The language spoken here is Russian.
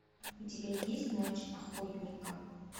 у тебя есть ночь охотника